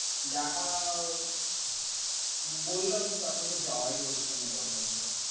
দেখা বললাম তো তারপর তো আর যাওয়াই হচ্ছে না ওর কাছে তো।